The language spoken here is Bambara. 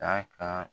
K'a ka